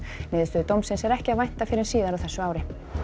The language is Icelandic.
niðurstöðu dómsins er ekki að vænta fyrr en síðar á þessu ári